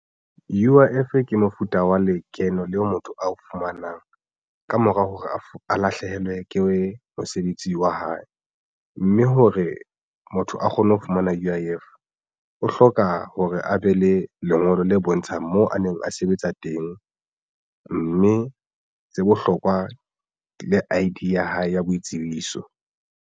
U_I_F ke mofuta wa lekeno leo motho ao fumanang ka mora hore motho a lahlehelwe ke mosebetsi wa hae mme hore motho a kgone ho fumana U_I_F o hloka hore a be le lengolo le bontshang moo a neng a sebetsa teng mme se bohlokwa le I_D ya hae ya boitsebiso.